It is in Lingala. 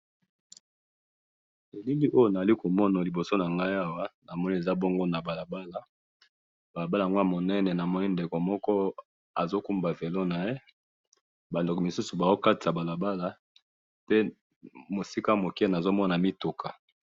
Na moni na balabala mutu azali ko tambusa moto na liboso mutu aza ko katisa, na mwa liboso mituka.